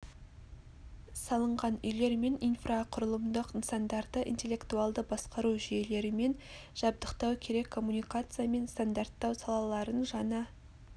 салынған үйлер мен инфрақұрылымдық нысандарды интеллектуалды басқару жүйелерімен жабдықтау керек коммуникация мен стандарттау салаларын жаңа